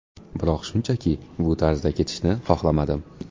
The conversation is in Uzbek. Biroq shunchaki bu tarzda ketishni xohlamadim”.